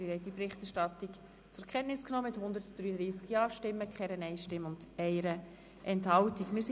Sie haben diese Berichterstattung mit 133 Ja- gegen 0 Nein-Stimmen bei 1 Enthaltung zur Kenntnis genommen.